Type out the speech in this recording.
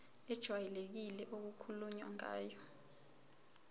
ejwayelekile okukhulunywe ngayo